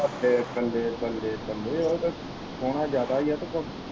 ਬੱਲੇ ਬੱਲੇ ਬੱਲੇ ਬੱਲੇ ਉਹ ਤੇ ਸੋਹਣਾ ਜਿਆਦਾ ਹੀ ਹੈ ਤੇ ਫਿਰ।